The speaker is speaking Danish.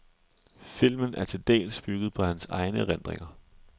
Filmen er til dels bygget på hans egne erindringer, .